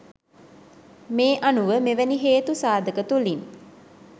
මේ අනුව මෙවැනි හේතු සාධක තුළින්